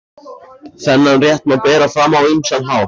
Þennan rétt má bera fram á ýmsan hátt.